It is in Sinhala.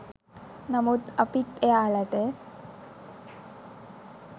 නමුත් අපිත් එයාලට